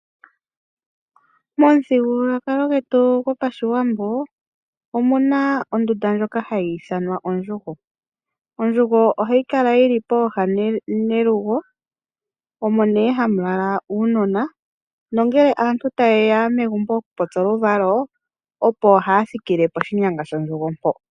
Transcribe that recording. Momuthigululwakalo gwetu gopashiwambo omuna ondunda ndjoka hayi ithanwa ondjugo. Ondjugo ohayi kala yili pooha nelugo omo nee hamu lala uunona nongele aantu tayeya megumbo okupopya oluvalo opo haa thikile poshinyanga shondjugo mpo.